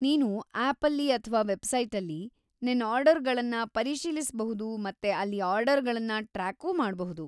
ನೀನು ಆ್ಯಪಲ್ಲಿ ಅಥ್ವಾ ವೆಬ್ಸೈಟಲ್ಲಿ ನಿನ್ ಆರ್ಡರ್‌ಗಳನ್ನ ಪರಿಶೀಲಿಸ್ಬಹುದು ಮತ್ತೆ ಅಲ್ಲಿ ಆರ್ಡರ್‌ಗಳನ್ನ ಟ್ರ್ಯಾಕೂ ಮಾಡ್ಬಹುದು.